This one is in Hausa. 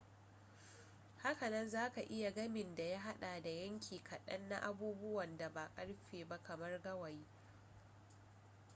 haka nan za ka iya gamin da ya haɗa da yanki kaɗan na abubuwan da ba ƙarfe ba kamar gawayi